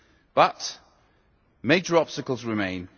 But major obstacles remain.